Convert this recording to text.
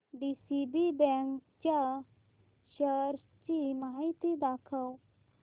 DCB bank च्या shares ची माहिती दाखव